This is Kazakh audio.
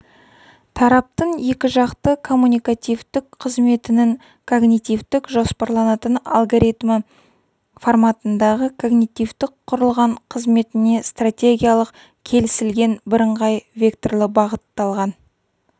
тараптардың екіжақты коммуникативтік қызметінің когнитивтік-жоспарланатын алгоритмі форматындағы когнитивтік құрылған қызметіне стратегиялық келісілген бірыңғай векторлы бағытталған